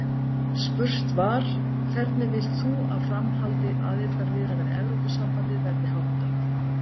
Spurt var: Hvernig vilt þú að framhaldi aðildarviðræðna við Evrópusambandið verði háttað?